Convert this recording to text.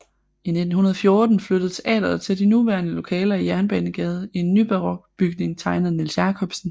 I 1914 flyttede teatret til de nuværende lokaler i Jernbanegade i en nybarok bygning tegnet af Niels Jacobsen